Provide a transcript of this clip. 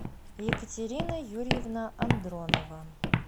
екатерина юрьевна андронова